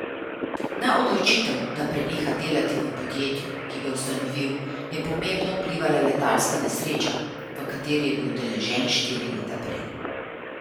Na odločitev, da preneha delati v podjetju, ki ga je ustanovil, je pomembno vplivala letalska nesreča, v kateri je bil udeležen štiri leta prej.